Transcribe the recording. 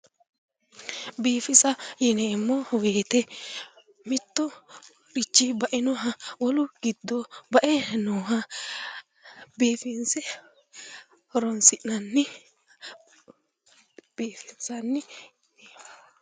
Biifisa yineemmo woyte mittoricho bainoha wolu giddo ba"e nooha biifinse horoonsi'nanni biifinsanni